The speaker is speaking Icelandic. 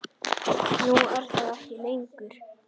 Nú er það ekki lengur.